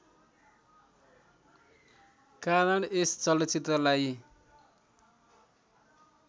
कारण यस चलचित्रलाई